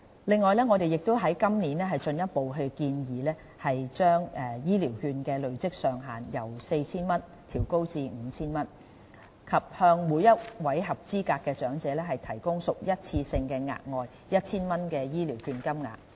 另外，我們今年進一步建議把醫療券的累積上限由 4,000 元調高至 5,000 元，以及向每位合資格長者提供屬一次性質的額外 1,000 元醫療券金額。